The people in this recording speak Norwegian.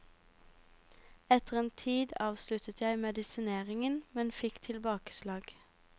Etter en tid avsluttet jeg medisineringen, men fikk tilbakeslag.